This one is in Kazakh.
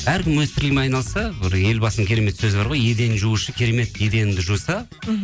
әркім өз тірлігімен айналысса бір елбасының керемет сөзі бар ғой еден жуушы керемет еденді жуса мхм